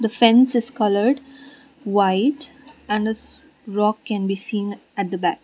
the fence is coloured white and a rock can be seen at the back.